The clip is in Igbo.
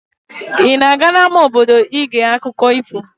Ị na-aga n'ámá obodo iga gee akụkọ ifo?